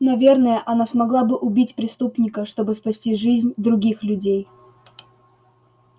наверное она смогла бы убить преступника чтобы спасти жизнь других людей